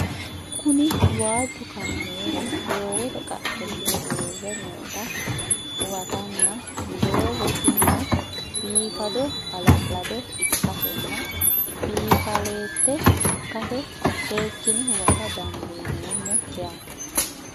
Kuni waaju kaamelu doogote qache hige uure noota huwantana dogo tinino bifadona hala'lado ikasena bifaalet ikase sekine huwata dandinemo yaate?